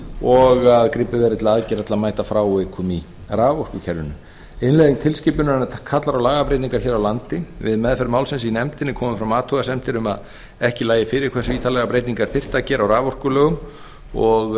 og að gripið verði til aðgerða til að mæta frávikum í raforkukerfinu innleiðing tilskipunarinnar kallar á lagabreytingar hér á landi við meðferð málsins í nefndinni komu fram athugasemdir um að ekki lægi fyrir hversu ítarlegar breytingar þyrfti að gera á raforkulögum og hugsanlega